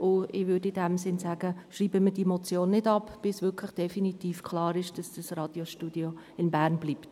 Ich möchte diese Motion nicht abschreiben, bis definitiv klar ist, dass das Radiostudio in Bern bleibt.